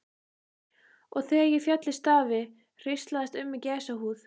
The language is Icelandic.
Og þegar ég féll í stafi hríslaðist um mig gæsahúð.